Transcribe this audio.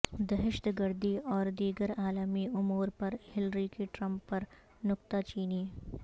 دہشت گردی اور دیگر عالمی امور پر ہلری کی ٹرمپ پر نکتہ چینی